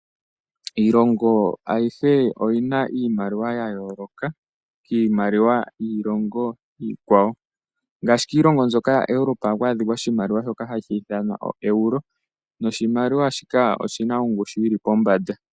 Iilongo ayihe oyi na iimaliwa ya yooloka kiimaliwa yiilongo iikwawo, ngaashi kiilongo mbyoka yaEuropa ohaku adhika oshimaliwa shoka hashi ithanwa oEuro noshimaliwa shika oshi na ongushu yi li pombanda.